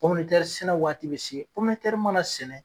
sɛnɛ waati bɛ se mana sɛnɛ.